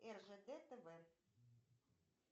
ржд тв